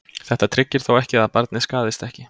Þetta tryggir þó ekki að barnið skaðist ekki.